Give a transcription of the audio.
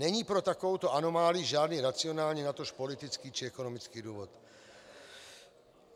Není pro takovouto anomálii žádný racionální, natož politický či ekonomický důvod.